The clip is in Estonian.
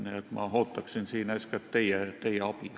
Nii et ma ootaksin siin eeskätt teie abi.